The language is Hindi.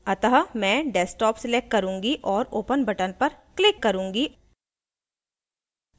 अतः मैं desktop select करुँगी और open button पर click करुँगी